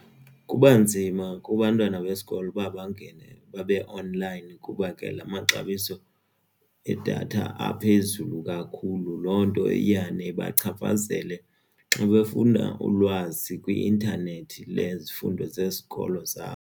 Kubanzima kubantwana besikolo uba bangene babe-online kuba ke la maxabiso edatha aphezulu kakhulu loo nto iyane ibachaphazele xa befunda ulwazi kwi-intanethi ngezifundo zesikolo zabo.